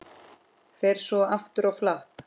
Fer svo aftur á flakk.